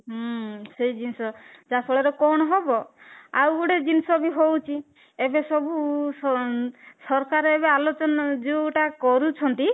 ହୁଁ ସେଇ ଜିନିଷ ଯାହା ଫଳରେ କଣ ହବ ଆଉ ଗୋଟେ ଜିନିଷ ବି ହଉଛି ଏବେ ସବୁ ସରକାର ଏବେ ଯୋଉଟା କରୁଛନ୍ତି